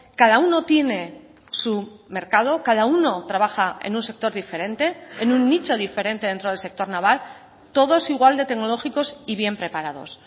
cada uno tiene su mercado cada uno trabaja en un sector diferente en un nicho diferente dentro del sector naval todos igual de tecnológicos y bien preparados